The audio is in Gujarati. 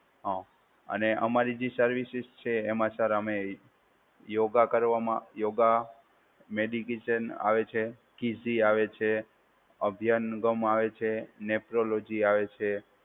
હા, અને અમારી જે સર્વિસિસ છે એમાં સર અમે યોગા કરવામાં યોગા, મેડિકેશન આવે છે, કિસી આવે છે, અભ્યંગમ આવે છે, નેફ્રોલોજી આવે છે.